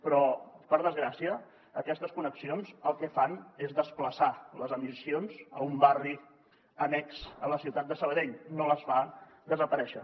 però per desgràcia aquestes connexions el que fan és desplaçar les emissions a un barri annex a la ciutat de sabadell no les fa desaparèixer